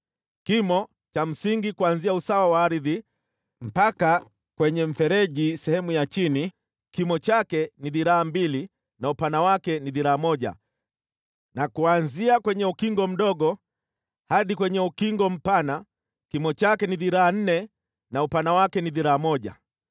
Kimo cha msingi kuanzia usawa wa ardhi mpaka kwenye mfereji sehemu ya chini kimo chake ni dhiraa mbili na upana wake ni dhiraa moja na kuanzia kwenye ukingo mdogo hadi kwenye ukingo mpana kimo chake ni dhiraa nne na upana wake ni dhiraa moja.